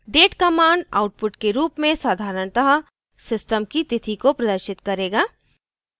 date command output के रूप में साधारणतः system की तिथि को प्रदर्शित करेगा